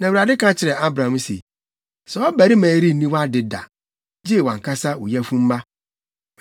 Na Awurade ka kyerɛɛ Abram se, “Saa ɔbarima yi renni wʼade da, gye wʼankasa wo yafunumma.”